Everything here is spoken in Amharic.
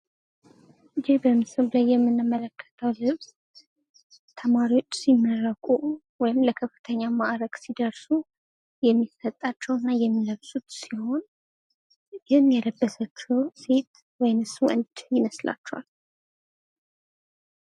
ይህ በምስሉ ላይ የምንመለከተው ልብስ ተማሪዎች ሲመረቁ ወይም ለከፍተኛ ማእረግ ሲደርሱ የሚሰጣቸው እና የሚለብሱት ሲሆን ይህን የለበሰችው ሴት ወይስ ወንድ ይመስላችኋል?